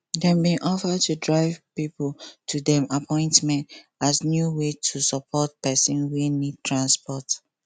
dem bin offer to drive pipo to dem appointment as new way to support person wey need transport